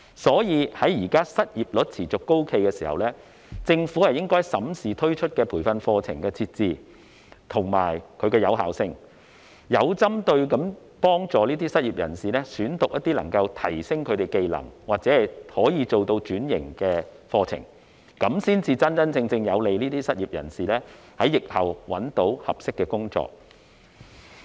所以，在現在失業率持續高企的時候，政府應該審視推出的培訓課程的設置及其有效性，有針對性地幫助失業人士選讀能夠提升技能或轉型的課程，有利於失業人士在疫後找到合適的工作。